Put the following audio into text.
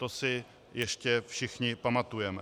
To si ještě všichni pamatujeme.